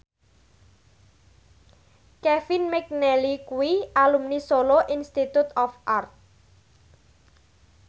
Kevin McNally kuwi alumni Solo Institute of Art